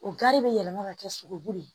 O gari bɛ yɛlɛma ka kɛ sogobu de ye